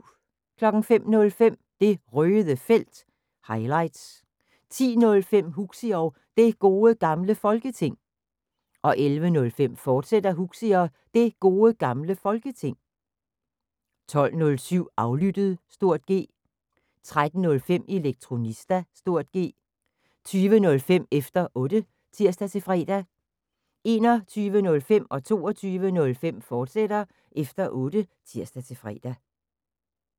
05:05: Det Røde Felt – highlights 10:05: Huxi og Det Gode Gamle Folketing 11:05: Huxi og Det Gode Gamle Folketing, fortsat 12:07: Aflyttet (G) 13:05: Elektronista (G) 20:05: Efter Otte (tir-fre) 21:05: Efter Otte, fortsat (tir-fre) 22:05: Efter Otte, fortsat (tir-fre)